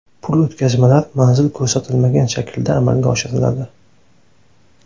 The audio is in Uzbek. Pul o‘tkazmalar manzil ko‘rsatilmagan shaklda amalga oshiriladi.